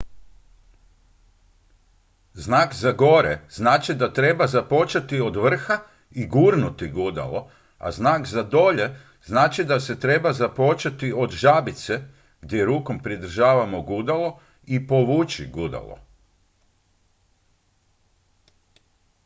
znak za gore znači da treba započeti od vrha i gurnuti gudalo a znak za dolje znači da treba započeti od žabice gdje rukom pridržavamo gudalo i povući gudalo